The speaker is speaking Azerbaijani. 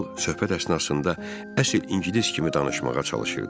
Kral söhbət əsnasında əsl ingilis kimi danışmağa çalışırdı.